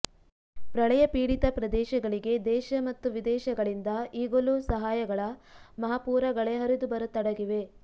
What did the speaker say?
ಪ್ರಳಯ ಪೀಡಿತ ಪ್ರದೇಶಗಳಿಗೆ ದೇಶ ಮತ್ತು ವಿದೇಶಗಳಿಂದ ಈಗಲೂ ಸಹಾಯಗಳ ಮಹಾಪೂರ ಗಳೇ ಹರಿದು ಬರತೊಡಗಿವೆ